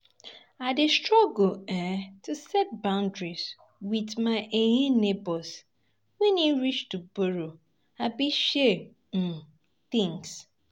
I dey struggle um to set boundaries with my um neighbors wen e reach to borrow abi share um things.